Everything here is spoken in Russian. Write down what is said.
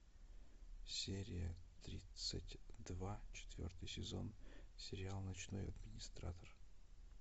серия тридцать два четвертый сезон сериал ночной администратор